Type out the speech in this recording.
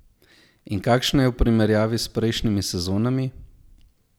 In kakšna je v primerjavi s prejšnjimi sezonami?